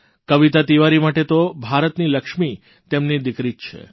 કવિતા તિવારી માટે તો ભારતની લક્ષ્મી તેમની દિકરી જ છે